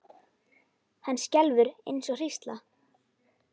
Hann skelfur eins og hrísla.